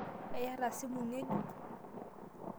Eyataa simu ng'ejuk?